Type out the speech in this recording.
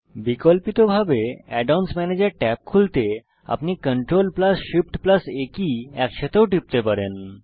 বিকল্পিতরূপে add অন্স ম্যানেজের tab খুলতে আপনি CTRLShiftA কী একসাথেও টিপতে পারেন